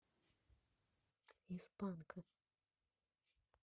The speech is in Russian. из панка